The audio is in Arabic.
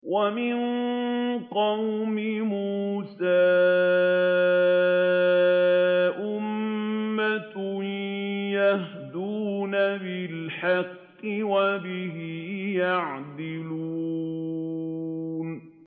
وَمِن قَوْمِ مُوسَىٰ أُمَّةٌ يَهْدُونَ بِالْحَقِّ وَبِهِ يَعْدِلُونَ